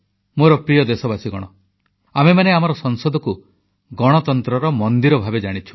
ମୋର ପ୍ରିୟ ଦେଶବାସୀଗଣ ଆମେମାନେ ଆମର ସଂସଦକୁ ଗଣତନ୍ତ୍ରର ମନ୍ଦିର ଭାବେ ଜାଣିଛୁ